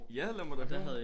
Ja lad mig da høre!